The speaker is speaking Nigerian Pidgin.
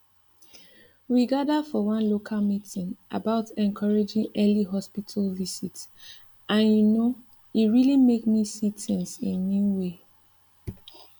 we gather for one local meeting about encouraging early hospital visit and you know e really make me see things in new way